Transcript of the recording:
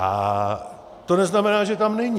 Ale to neznamená, že tam není.